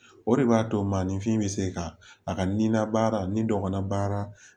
O de b'a to maninfin bɛ se ka a ka nila baara ni dɔgɔnin baara